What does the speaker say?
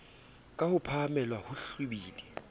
ka ho phahamela ho hlwibila